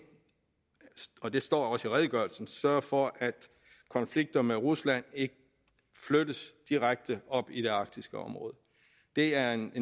og det står også i redegørelsen sørge for at konflikter med rusland ikke flyttes direkte op i det arktiske område det er en